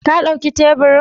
Ka dauki teburin?